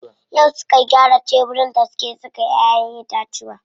Yau suka gyara tebirin da suke saka ƴaƴen itatuwa.